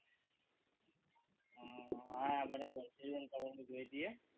હા બરાબર છે જોઈએ છીએ